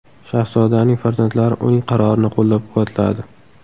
Shahzodaning farzandlari uning qarorini qo‘llab-quvvatladi.